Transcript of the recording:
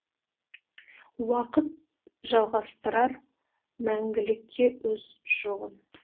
уақыт жалғастырар мәңгілікке өз жолын